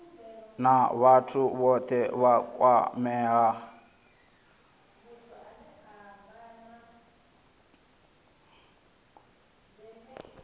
na vhathu vhothe vha kwameaho